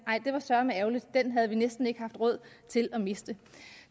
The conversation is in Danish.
det var søreme ærgerligt den havde vi næsten ikke råd til at miste